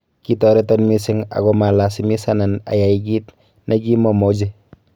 Kitoreton mising agomalasimisanan ayai kiit negimomoche.